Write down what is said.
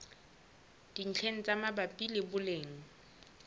dintlheng tse mabapi le boleng